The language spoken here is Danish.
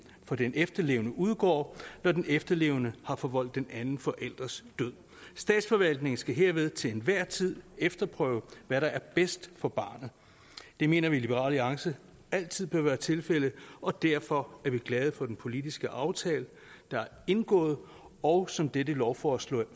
for den efterlevende udgår når den efterlevende har forvoldt den anden forælders død statsforvaltningen skal herved til enhver tid efterprøve hvad der er bedst for barnet det mener vi i liberal alliance altid bør være tilfældet og derfor er vi glade for den politiske aftale der er indgået og som dette lovforslag